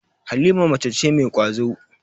Halima mace ce mai ƙwazo.